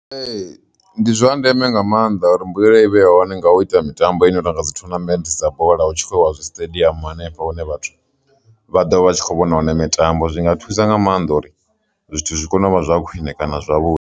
Ee, ndi zwa ndeme nga maanḓa uri mbuyelo i vhe ya hone nga u ita mitambo ine tonga dzi thonamennde dza bola hu tshi khou wa zwi siṱediamu hanefho hune vhathu vha ḓo vha tshi kho vhona wana mitambo zwi nga thusa nga maanḓa uri zwithu zwi kone u vha zwa khwine kana zwavhuḓi.